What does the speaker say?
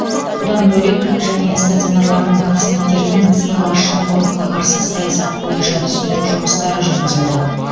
бұдан бөлек және стационарлардың пациенттерімен сыбайлас жемқорлыққа қарсы саясат бойынша түсіндіру жұмыстары жүргізілді